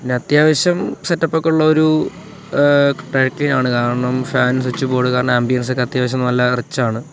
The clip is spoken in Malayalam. അത്യാവശ്യം സെറ്റ് അപ്പ് ഒക്കെ ഉള്ളൊരു ഏഹ് ആണ് കാരണം ഫാൻ സ്വിച്ച് ബോർഡ് കാരണം ആംബിയൻസ് ഒക്കെ അത്യാവശ്യം നല്ല റിച്ചാണ് .